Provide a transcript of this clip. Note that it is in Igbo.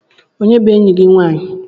Onye bu eyi gi nwanyị?